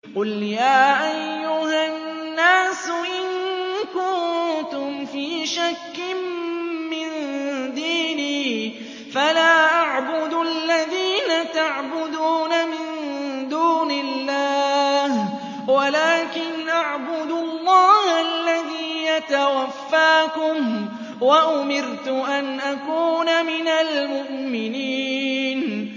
قُلْ يَا أَيُّهَا النَّاسُ إِن كُنتُمْ فِي شَكٍّ مِّن دِينِي فَلَا أَعْبُدُ الَّذِينَ تَعْبُدُونَ مِن دُونِ اللَّهِ وَلَٰكِنْ أَعْبُدُ اللَّهَ الَّذِي يَتَوَفَّاكُمْ ۖ وَأُمِرْتُ أَنْ أَكُونَ مِنَ الْمُؤْمِنِينَ